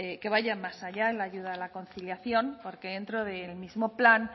más allá en la ayuda a la conciliación porque dentro del mismo plan